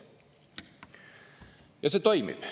Ja see toimib.